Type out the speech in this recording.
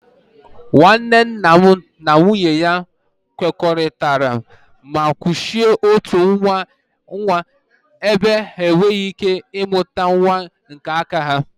Nwanne nna m na nwunye ya kwekoritara ma kuchie otu nwa ebe ha e nwere ike mụta nwa nke aka ha